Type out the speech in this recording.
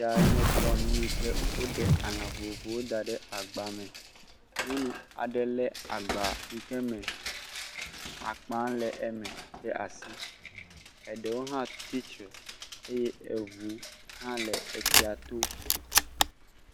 Enye tɔnu yi ke woɖe alã vovovowo kɔ ɖe agbame. Nyɔnu aɖe lé agba yi ke me akpã le eme ɖe asi. Eɖewo hã tsi tsre eye eŋu hã le tsia to.